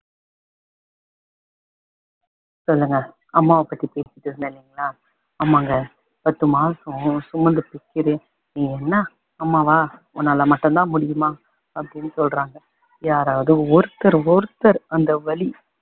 சொல்லுங்க அம்மாவ பத்தி பேசிட்டுருந்தேன் இல்லிங்களா அமாங்க பத்து மாசம் சுமந்து நீ என்ன அம்மா வா உன்னால மட்டும் தான் முடியுமா அப்படின்னு சொல்றாங்க யாராவது ஒருத்தர் ஒருத்தர் அந்த வலி